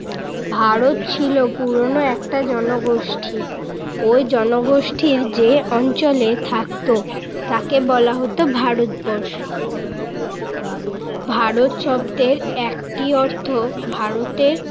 ভারত ছিল পুরোনো একটা জনগোষ্ঠি। ওই জনগোষ্ঠির যে অঞ্চলে থাকত তাকে বলা হতো ভারতবর্ষ। ভারত শব্দের একটি অর্থ ভারতের